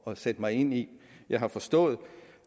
at sætte mig ind i jeg har forstået